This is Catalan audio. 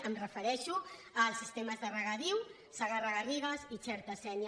em refereixo als sistemes de regadiu segarra garrigues i xerta sénia